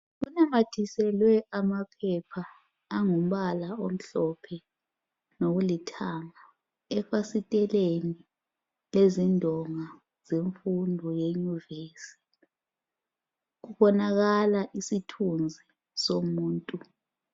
Kunanyathiselwe amaphepha angumbala omhlophe lokulithanģa efasiteleni lezindonga zemfundo ye nyuvesi. Kubonakala isithunzi somuntu